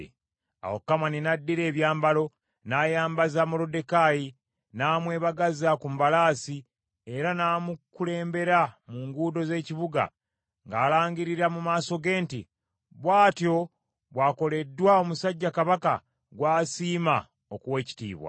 Awo Kamani n’addira ebyambalo, n’ayambaza Moluddekaayi, n’amwebagaza ku mbalaasi, era n’amukulembera mu nguudo z’ekibuga ng’alangirira mu maaso ge nti, “Bw’atyo bw’akoleddwa omusajja Kabaka gw’asiima okuwa ekitiibwa.”